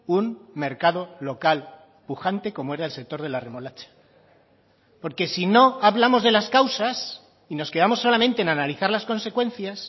un mercado local pujante como era el sector de la remolacha porque si no hablamos de las causas y nos quedamos solamente en analizar las consecuencias